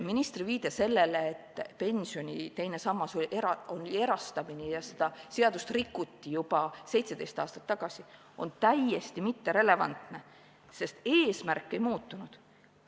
Ministri viide sellele, et pensioni teine sammas oli erastamine ja seda seadust rikuti juba 17 aastat tagasi, on täiesti mitterelevantne, sest eesmärk ei muutunud.